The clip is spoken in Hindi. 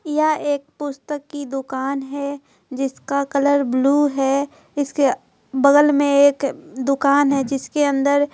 यहां एक पुस्तक की दुकान है जिसका कलर ब्लू है इसके बगल में एक दुकान हैजिसके अंदर।